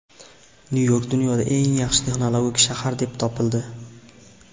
Nyu-York dunyoda eng yaxshi texnologik shahar deb topildi.